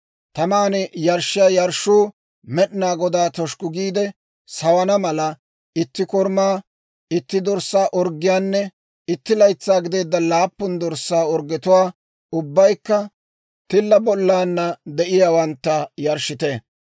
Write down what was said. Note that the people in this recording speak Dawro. Taman yarshshiyaa yarshshuu Med'inaa Godaa toshukku giide sawana mala, itti korumaa, itti dorssaa orggiyaanne itti laytsaa gideedda laappun dorssaa orggetuwaa, ubbaykka tilla bollana de'iyaawantta, yarshshite.